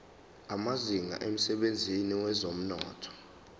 amazinga emsebenzini wezomnotho